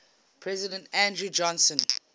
president andrew johnson